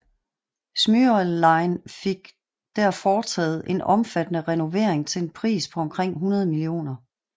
Smyril Line fik der foretaget en omfattende renovering til en pris på omkring 100 mio